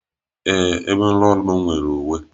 Ee, ebe nrụọrụ m nwere uwe.